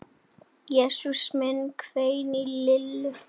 Jesús minn hvein í Lillu.